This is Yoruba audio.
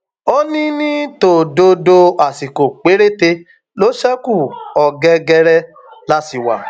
ó ní ní tòdodo àsìkò péréte ló ṣekú ọgẹgẹrẹ la sì wá